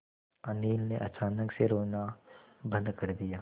अनिल ने अचानक से रोना बंद कर दिया